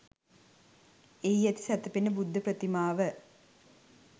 එහි ඇති සැතපෙන බුද්ධ ප්‍රතිමාව